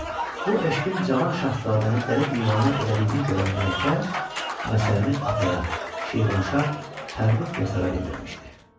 bu eşqin cavan şahzadəni dəli divanə elədiyini görən mələkə, məsələni ataya, Şirvanşah Pərrux Yasara bildirmişdi.